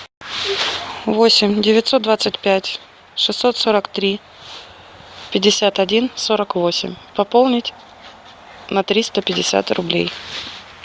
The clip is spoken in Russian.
восемь девятьсот двадцать пять шестьсот сорок три пятьдесят один сорок восемь пополнить на триста пятьдесят рублей